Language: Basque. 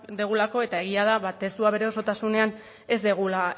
dugulako eta egia da testua bere osotasunean ez dugula